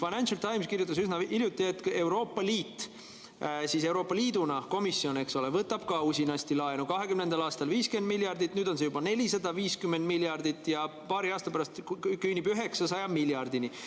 Financial Times kirjutas üsna hiljuti, et Euroopa Liit, Euroopa Komisjon võtab ka usinasti laenu: 2020. aastal 50 miljardit, nüüd on see juba 450 miljardit ja paari aasta pärast küündib 900 miljardini.